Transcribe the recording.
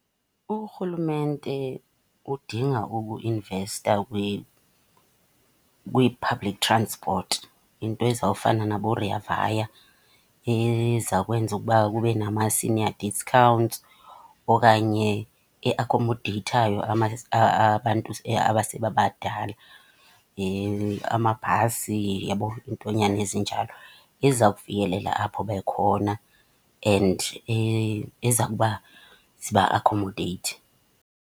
Urhulumente udinga ukuinvesta kwi-public transport, into ezawufana naboRea Vaya. Eza kwenza ukuba kube nama-senior discounts okanye eakhomodeyithayo abantu abasebebadala. Amabhasi, uyabo. Iintonyana ezinjalo. Eza kufikelela apho bekhona and eza kuba ziba akhomodeyithe.